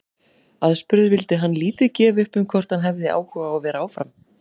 Aðspurður vildi hann lítið gefa upp um hvort hann hefði áhuga á að vera áfram.